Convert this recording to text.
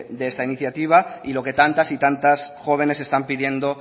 de esta iniciativa y lo que tantas y tantas jóvenes están pidiendo